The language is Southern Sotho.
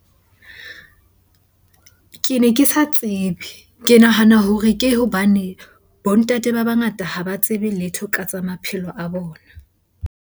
Ke ne ke sa tsebe. Ke nahana hore ke hobane bo ntate ba bangata ha ba tsebe letho ka tsa maphelo a bona.